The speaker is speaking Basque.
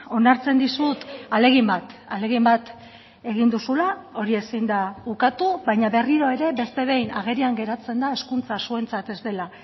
onartzen dizut ahalegin bat ahalegin bat egin duzula hori ezin da ukatu baina berriro ere beste behin agerian geratzen da hezkuntza zuentzat ez dela